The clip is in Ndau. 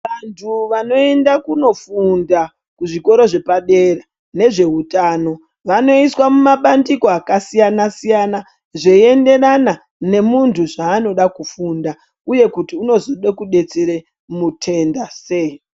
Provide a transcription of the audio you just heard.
Vantu vanoenda kunofunda kuzvikora zvepadera nezveutano vanoiswa mumabandiko akasiyana siyana zveienderana nemuntu zvaanoda kufunda uye kuti unozode kudetsera mutenda sei.